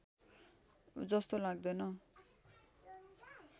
जस्तो लाग्दैन